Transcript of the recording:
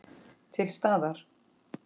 Til staðar.